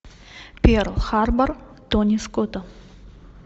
перл харбор тони скотта